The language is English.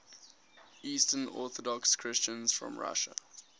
eastern orthodox christians from russia